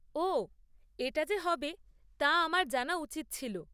ওহ, এটা যে হবে তা আমার জানা উচিত ছিল।